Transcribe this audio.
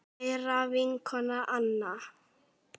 Kæra vinkona Anna.